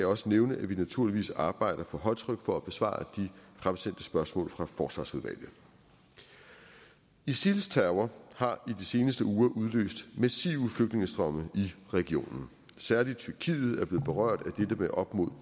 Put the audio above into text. også nævne at vi naturligvis arbejder på højtryk for at besvare de fremsendte spørgsmål fra forsvarsudvalget isils terror har i de seneste uger udløst massive flygtningestrømme i regionen særligt tyrkiet er blevet berørt af dette med op mod